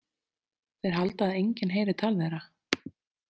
Þeir halda að enginn heyri tal þeirra.